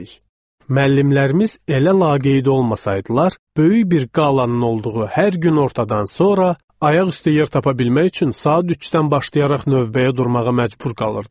Müəllimlərimiz elə laqeyd olmasaydılar, böyük bir qalanın olduğu hər günortadan sonra ayaqüstü yer tapa bilmək üçün saat üçdən başlayaraq növbəyə durmağa məcbur qalırdıq.